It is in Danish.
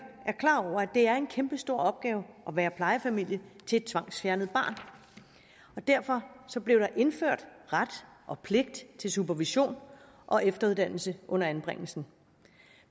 det er en kæmpestor opgave at være plejefamilie til et tvangsfjernet barn derfor blev der indført ret og pligt til supervision og efteruddannelse under anbringelsen